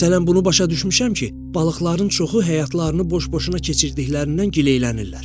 Məsələn, bunu başa düşmüşəm ki, balıqların çoxu həyatlarını boş-boşuna keçirtdiklərindən gileylənirlər.